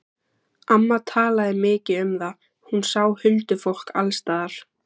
Amma talaði mikið um það, hún sá huldufólk alls staðar.